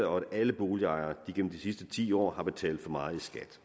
om alle boligejere gennem de sidste ti år har betalt for meget i skat